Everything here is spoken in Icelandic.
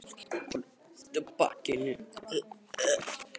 Konan rétti úr bakinu og festi myndina með bréfaklemmu við auða pappírsörk.